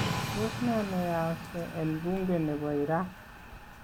Tos nee neyaakse en buunke nebo iraq?